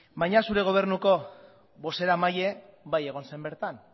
baina zure gobernuko bozeramailea bai egon zen bertan